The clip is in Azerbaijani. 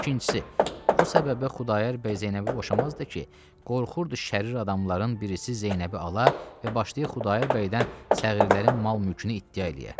İkincisi, o səbəbə Xudayar bəy Zeynəbi boşamazdı ki, qorxurdu şərir adamların birisi Zeynəbi ala və başlayıb Xudayar bəydən səğrirlərin mal-mülkünü iddia eləyə.